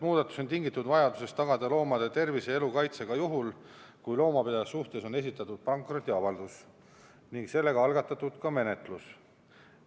Muudatus on tingitud vajadusest tagada loomade tervise ja elu kaitse ka juhul, kui loomapidaja suhtes on esitatud pankrotiavaldus ning algatatud menetlus.